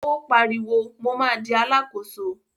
Ó pariwo, mo ma di Alákóso!